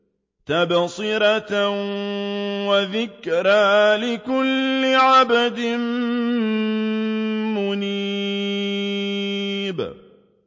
تَبْصِرَةً وَذِكْرَىٰ لِكُلِّ عَبْدٍ مُّنِيبٍ